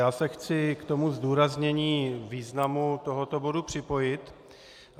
Já se chci k tomu zdůraznění významu tohoto bodu připojit.